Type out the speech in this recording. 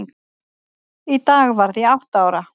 Í dag varð ég átta ára.